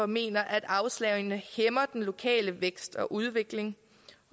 mener at afslagene hæmmer den lokale vækst og udvikling